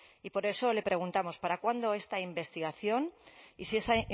y por eso le preguntamos para cuándo esta investigación y si esa